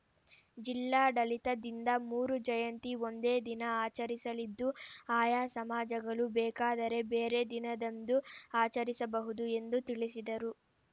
ಜಿಲ್ಲಾಡಳಿತದಿಂದ ಮೂರೂ ಜಯಂತಿ ಒಂದೇ ದಿನ ಆಚರಿಸಲಿದ್ದು ಆಯಾ ಸಮಾಜಗಳು ಬೇಕಾದರೆ ಬೇರೆ ದಿನದಂದು ಆಚರಿಸಬಹುದು ಎಂದು ತಿಳಿಸಿದರು